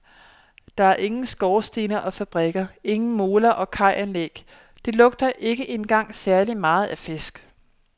Der er ingen skorstene og fabrikker, ingen moler og kajanlæg, det lugter ikke engang særlig meget af fisk.